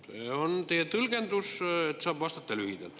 See on teie tõlgendus, et saaks vastata lühidalt.